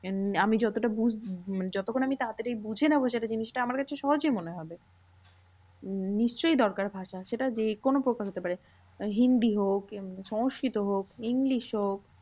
আমি যতটা যতক্ষণ আমি তাড়াতাড়ি বুঝে নেবো সেটা জিনিসটা আমার কাছে সহজই মনে হবে। উম নিশ্চই দরকার ভাষা সেটা যে কোনো প্রকার হতে হবে হিন্দি হোক, সংস্কৃত হোক, ইংলিশ হোক